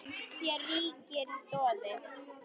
Hér ríkir doði.